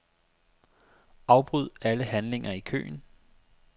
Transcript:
Afbryd alle handlinger i køen.